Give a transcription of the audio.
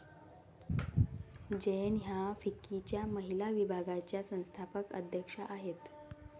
जैन ह्या फिक्कीच्या महिला विभागाच्या संस्थापक अध्यक्षा आहेत.